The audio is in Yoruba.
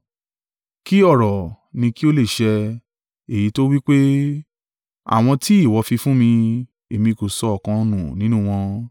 Kí ọ̀rọ̀ nì kí ó lè ṣẹ, èyí tó wí pé, “Àwọn tí ìwọ fi fún mi, èmi kò sọ ọ̀kan nù nínú wọn.”